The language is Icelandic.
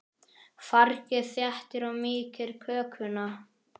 Fargið þéttir og mýkir kökuna.